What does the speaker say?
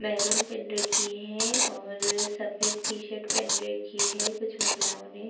Maroon पेहेन रखी है और अ सफेद टी-शर्ट पेहेन रखी है। कुछ महिलाओं ने --